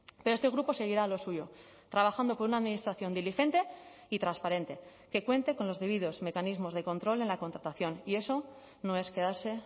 pero este grupo seguirá a lo suyo trabajando por una administración diligente y transparente que cuente con los debidos mecanismos de control en la contratación y eso no es quedarse